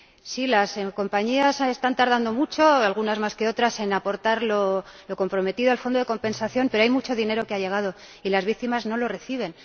Sí, las compañías están tardando mucho —algunas más que otras— en aportar lo comprometido al Fondo de Compensación, pero hay mucho dinero que ha llegado y las víctimas no lo reciben.